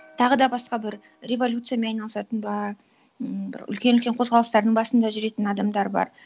тағы да басқа бір революциямен айналысатын бар м бір үлкен үлкен қозғалыстардың басында жүретін адамдар бар